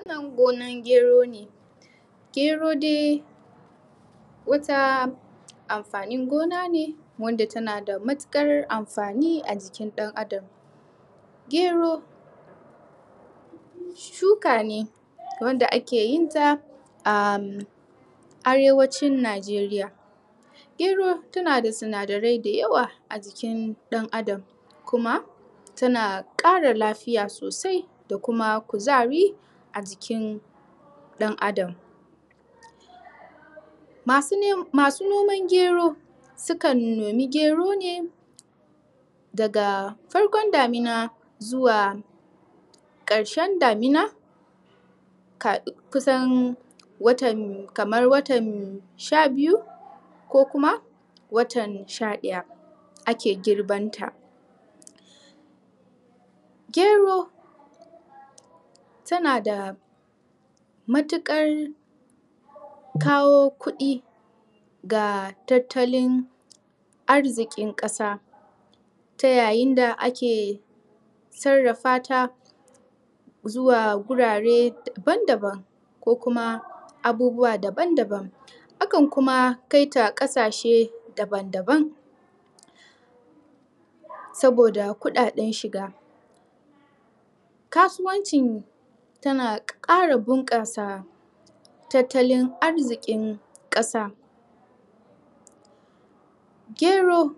A kan gonan gero ne gero dai wata amfanin gona ne wanda tana da matuƙar amfani a jikin ɗan'adam gero gero wanda ake yin ta am, Arewacin Najeriya gero tana da sinadarai da yawa a jikin ɗan'adam kuma tana ƙara lafiya sosai da kuma kuzari a jikin ɗan'adam masu noman gero sukan nomi gero ne daga farkon damina zuwa ƙarshen damina kusan watan, kamar watan sha-biyu ko kuma watan sha-ɗaya a ke girban ta gero tana da matuƙar kawo kuɗi ga tattalin arziƙin ƙasa ta yayin da ake sarrafa ta zuwa gurare daban-daban ko kuma abubuwa daban-daban akan kuma kaita ƙasashe daban-daban saboda kuɗaɗen shiga kasuwancin tana ƙara bunƙasa tattalin arziƙin ƙasa gero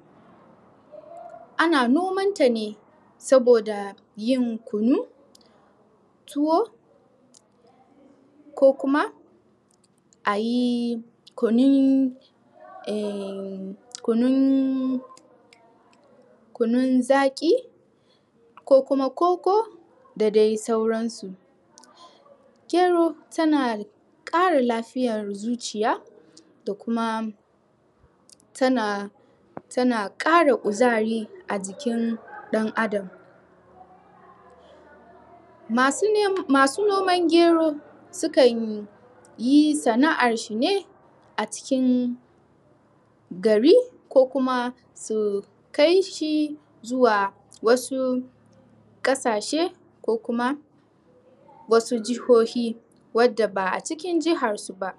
ana noman ta ne saboda yin kunu tuwo ko kuma a yi kunun eh, kunun kunun zaƙi ko kuma koko da dai sauran su gero tana ƙara lafiyar zuciya da kuma tana tana ƙara kuzari a cikin ɗan'adam masu noman gero su kan yi sana'ar shi ne a cikin gari ko kuma su kai shi zuwa wasu ƙasashe ko kuma wasu jihohi wanda ba'a cikin jihar su ba.